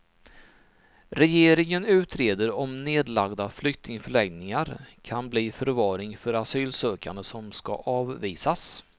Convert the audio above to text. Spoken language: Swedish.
Regeringen utreder om nedlagda flyktingförläggningar kan bli förvaring för asylsökande som ska avvisas.